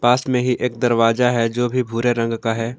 असमें ही एक दरवाजा है जो भी भूरे रंग का है।